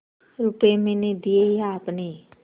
रुपये मैंने दिये या आपने